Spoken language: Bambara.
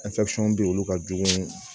bɛ yen olu ka jugu